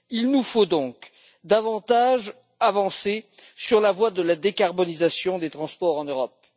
Il nous faut donc davantage avancer sur la voie de la décarbonisation des transports en Europe.